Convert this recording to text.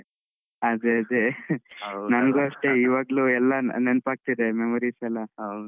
ಅದೇ ಅದೇ ನಂಗು ಅಷ್ಟೇ ಇವಾಗ್ಲೂ ಎಲ್ಲ ನೆನಪಾಗ್ತಿದೆ memories ಎಲ್ಲ.